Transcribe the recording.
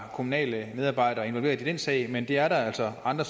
kommunale medarbejdere involveret i den sag men det er der altså andre